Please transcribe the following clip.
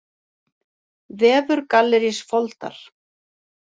Vefur Gallerís Foldar